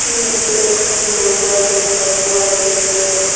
ইয়াতে এখন বজাৰ দেখা পোৱা গৈছে।